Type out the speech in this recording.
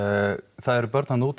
það eru börn þarna úti